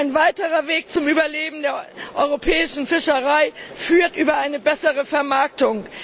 Ein weiterer Weg zum Überleben der europäischen Fischerei führt über eine bessere Vermarktung.